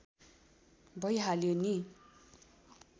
भैहाल्यो नि